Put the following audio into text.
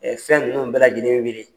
fɛn ninnu bɛɛ lajɛlen wili.